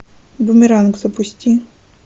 бумеранг запусти